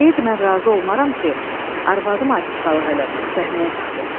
Deyirdi mən razı olmaram ki, arvadım artistqalıq eləsin, səhnəyə çıxsın.